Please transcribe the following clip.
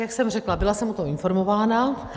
Jak jsem řekla, byla jsem o tom informována.